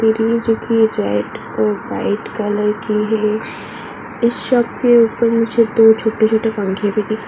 पेटी है जो कि रेड और व्हाइट कलर की है। इस शॉप के ऊपर मुझे दो छोटे-छोटे पंखे भी दिख --